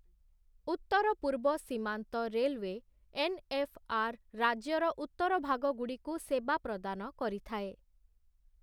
ଉତ୍ତର ପୂର୍ବ ସୀମାନ୍ତ ରେଲୱେ, ଏନ୍ଏଫ୍ଆର୍ ରାଜ୍ୟର ଉତ୍ତର ଭାଗଗୁଡ଼ିକୁ ସେବା ପ୍ରଦାନ କରିଥାଏ ।